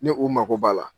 Ni u mago b'a la